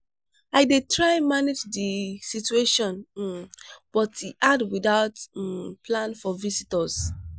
i dey try manage the situation um but e hard without um plan for visitors.